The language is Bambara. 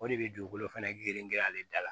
O de bɛ dugukolo fɛnɛ girinya ale da la